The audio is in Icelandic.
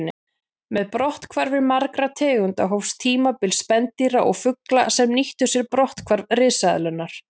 Með brotthvarfi margra tegunda hófst tímabil spendýra og fugla sem nýttu sér brotthvarf risaeðlanna.